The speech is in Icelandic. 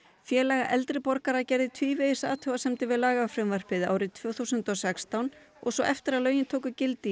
Félag eldri borgara gerði tvívegis athugasemdir við lagafrumvarpið árið tvö þúsund og sextán og svo eftir að lögin tóku gildi